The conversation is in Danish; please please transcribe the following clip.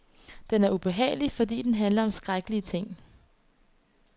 Den er ubehagelig, fordi den handler om skrækkelige ting.